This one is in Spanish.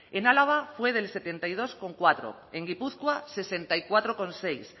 en álava fue del setenta y dos coma cuatro en guipúzcoa sesenta y cuatro coma seis